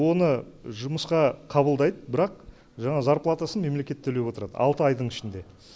оны жұмысқа қабылдайды бірақ жаңағы зарплатасын мемлекет төлеп отырады алты айдың ішінде